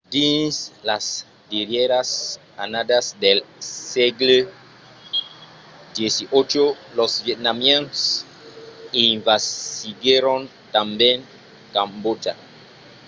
dins las darrièras annadas del sègle xviii los vietnamians envasiguèron tanben cambòtja